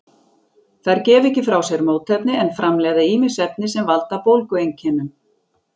Þær gefa ekki frá sér mótefni en framleiða ýmis efni sem valda bólgueinkennum.